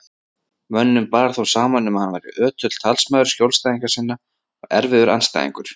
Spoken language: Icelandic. Mönnum bar þó saman um að hann væri ötull talsmaður skjólstæðinga sinna og erfiður andstæðingur.